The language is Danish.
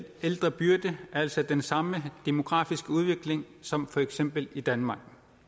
ældrebyrde altså den samme demografiske udvikling som for eksempel i danmark